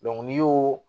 n'i y'o